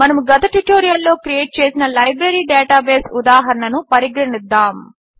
మనము గత ట్యుటోరియల్లో క్రియేట్ చేసిన లైబ్రరీ డేటాబేస్ ఉదాహరణను పరిగణిద్దాము